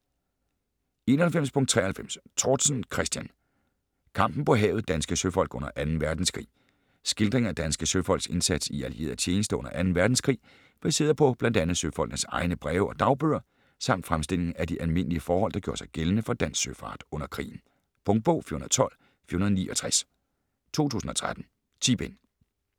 91.93 Tortzen, Christian: Kampen på havet: danske søfolk under Anden Verdenskrig Skildring af danske søfolks indsats i allieret tjenste under 2. verdenskrig, baseret på bl.a. søfolkenes egne breve og dagbøger, samt fremstilling af de almindlige forhold der gjorde sig gældende for dansk søfart under krigen. Punktbog 412469 2013. 10 bind.